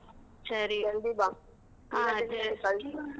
ovrelap ಬಾ ovrelap ಕಳ್ಸ್.